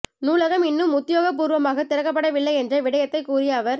நூலகம் இன்னும் உத்தியோக பூர்வமாக திறக்கப்படவில்லை என்ற விடயத்தை கூறிய அவர்